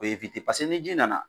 Be ewite paseke ni ji nana